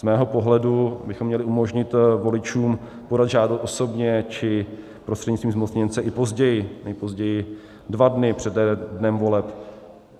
Z mého pohledu bychom měli umožnit voličům podat žádost osobně či prostřednictvím zmocněnce i později, nejpozději dva dny přede dnem voleb.